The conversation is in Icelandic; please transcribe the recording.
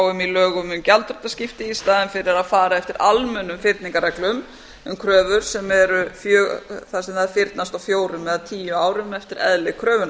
um í lögum um gjaldþrotaskipti í staðinn fyrir að fara eftir almennum fyrningarkröfur þar sem þær fyrnast á fjórum eða tíu árum eftir eðli kröfunnar